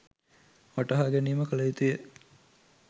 වටහා ගැනීම කළ යුතු ය.